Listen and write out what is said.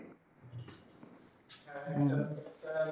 হুম।